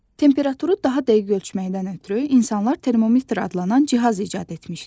Temperaturu daha dəqiq ölçməkdən ötrü insanlar termometr adlanan cihaz icad etmişlər.